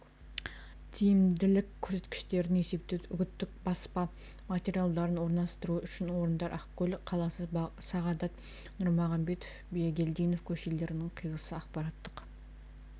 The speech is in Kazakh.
тиімділік көрсеткіштерін есептеу үгіттік баспа материалдарын орналастыру үшін орындар ақкөл қаласы сағадат нұрмағамбетов-бегелдинов көшелерінің қиылысы ақпараттық